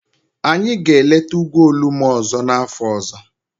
Anyị ga-eleta ugwu Olumo ọzọ n'afọ ọzọ.